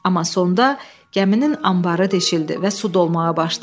Amma sonda gəminin anbarı deşildi və su dolmağa başladı.